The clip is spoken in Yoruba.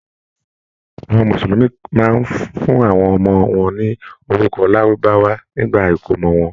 Àwọn Mùsùlùmí máa ń fún àwọn ọmọ wọn ní orúkọ Lárúbáwá nígbà ìkómọ wọn.